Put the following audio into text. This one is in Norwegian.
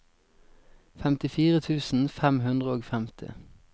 femtifire tusen fem hundre og femti